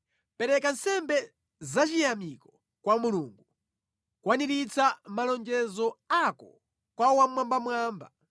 “Pereka nsembe zachiyamiko kwa Mulungu, kwaniritsa malonjezo ako kwa Wammwambamwamba.